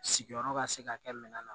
Sigiyɔrɔ ka se ka kɛ minan na